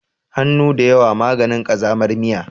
Hannu da yawa maganin ƙazamar miya.